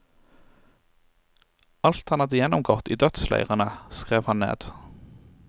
Alt han hadde gjennomgått i dødsleirene, skrev han ned.